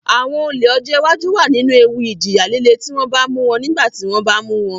Àwọn olè ọjọ́ iwájú wà nínú ewu ìjìyà líle tí wọ́n bá mú wọn nígbà tí wọ́n bá mu won